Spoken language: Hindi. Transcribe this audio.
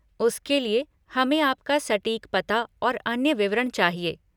उसके लिए, हमें आपका सटीक पता और अन्य विवरण चाहिए।